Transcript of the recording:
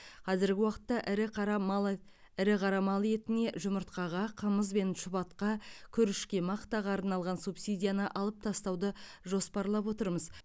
қазіргі уақытта ірі қара мал е қара мал етіне жұмыртқаға қымыз бен шұбатқа күрішке мақтаға арналған субсидияны алып тастауды жоспарлап отырмыз